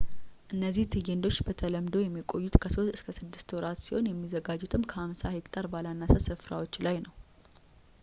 እነዚህ ትዕይንቶች በተለምዶ የሚቆዩት ከሶስት እስከ ስድስት ወራት ሲሆን የሚዘጋጁትም ከ50 ሄክታር ባላነሰ ስፍራዎች ላይ ነው